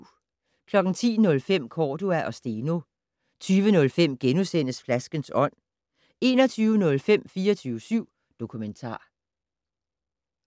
10:05: Cordua og Steno 20:05: Flaskens ånd * 21:05: 24syv Dokumentar